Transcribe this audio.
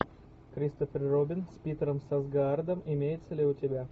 кристофер робин с питером сарсгаардом имеется ли у тебя